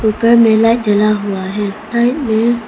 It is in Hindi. ऊपर में लाइट जला हुआ है।